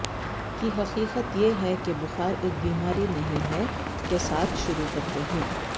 کی حقیقت یہ ہے کہ بخار ایک بیماری نہیں ہے کے ساتھ شروع کرتے ہیں